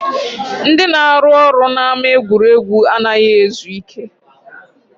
Ndị na-arụ ọrụ n'ama egwuregwu anaghị ezu ike